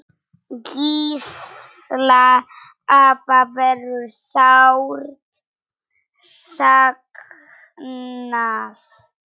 Gísla afa verður sárt saknað.